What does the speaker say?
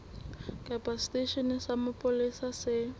kapa seteisheneng sa mapolesa se